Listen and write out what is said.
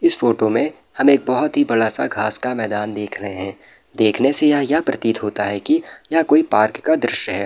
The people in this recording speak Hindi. इस फोटो में हमे बहुत ही बड़ा सा घास का मैदान देख रहे है देखने से यह प्रतीत होता है कि यह कोई पार्क का दृश्य है।